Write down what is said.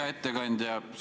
Hea ettekandja!